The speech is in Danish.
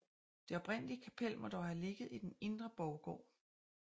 Det oprindelige kapel må dog have ligget i den indre borggård